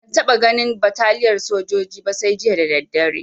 Ban taɓa ganin bataliyar sojoji ba sai jiya da daddare